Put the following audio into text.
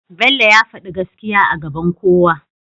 bello ya fadi gaskiya a gaban kowa